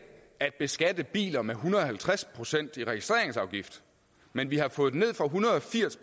at beskatte biler med en hundrede og halvtreds procent i registreringsafgift men vi har fået den ned fra en hundrede og firs